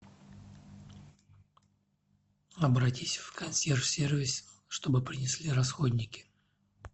обратись в консьерж сервис чтобы принесли расходники